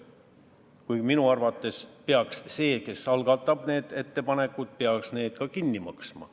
Kuigi minu arvates peaks see, kes teeb ettepanekud, need ka kinni maksma.